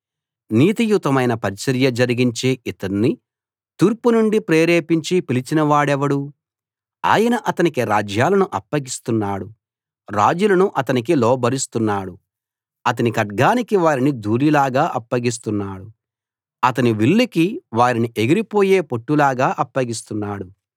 నీతియుతమైన పరిచర్య జరిగించే ఇతణ్ణి తూర్పు నుండి ప్రేరేపించి పిలిచిన వాడెవడు ఆయన అతనికి రాజ్యాలను అప్పగిస్తున్నాడు రాజులను అతనికి లోబరుస్తున్నాడు అతని ఖడ్గానికి వారిని ధూళిలాగా అప్పగిస్తున్నాడు అతని విల్లుకి వారిని ఎగిరిపోయే పొట్టులాగా అప్పగిస్తున్నాడు